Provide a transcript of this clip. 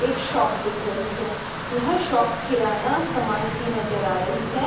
एक शॉप दिख रही है। यह शॉप किराना सामान की नजर आ रही है।